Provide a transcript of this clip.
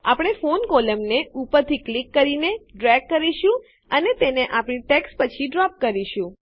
આપણે ફોન કોલમને ઉપરથી ક્લિક કરીને ડ્રેગ કરીશું અને તેને આપણી ટેક્સ્ટ પછી ડ્રોપ કરીશું